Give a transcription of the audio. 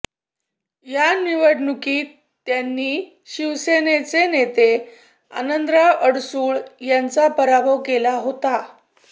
या निवडणुकीत त्यांनी शिवसेनेचे नेते आनंदराव अडसूळ यांचा पराभव केला होता